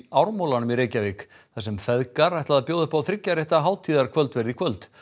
Ármúlanum í Reykjavík þar sem feðgar ætla að bjóða upp á þriggja rétta hátíðarkvöldverð í kvöld